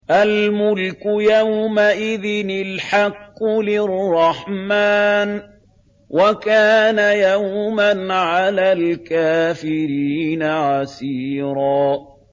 الْمُلْكُ يَوْمَئِذٍ الْحَقُّ لِلرَّحْمَٰنِ ۚ وَكَانَ يَوْمًا عَلَى الْكَافِرِينَ عَسِيرًا